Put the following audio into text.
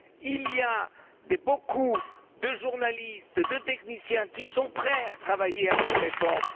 Il y a beaucoup de journalistes et de techniciens qui sont prêts à travailler à cette réforme.